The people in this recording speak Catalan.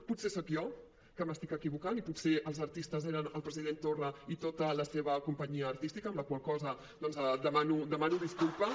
potser soc jo que m’equivoco i potser els artistes eren el president torra i tota la seva companyia artística amb la qual cosa demano disculpes